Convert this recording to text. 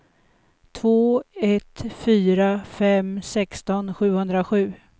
två ett fyra fem sexton sjuhundrasju